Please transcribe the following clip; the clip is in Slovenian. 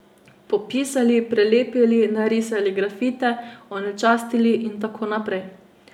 Popisali, prelepili, narisali grafite, onečastili in tako naprej.